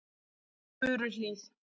Furuhlíð